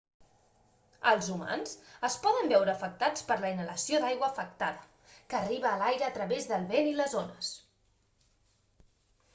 els humans es poden veure afectats per la inhalació d'aigua afectada que arriba a l'aire a través del vent i les ones